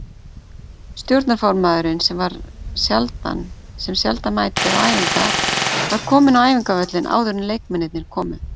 Stjórnarformaðurinn sem sjaldan mætir á æfingar var kominn á æfingavöllinn áður en leikmennirnir komu.